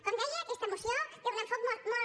com deia aquesta moció té un enfocament molt